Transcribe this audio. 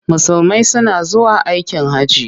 Musulmai suna zuwa aikin hajji.